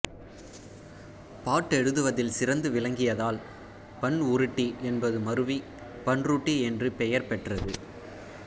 பாட்டெழுதுவதில் சிறந்து விளங்கியதால் பண் உருட்டி என்பது மறுவி பண்ருட்டி என்று பெயர் பெற்றது